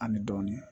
An bɛ dɔɔnin